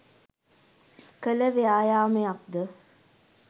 කළ ව්‍යායාමයක් ද?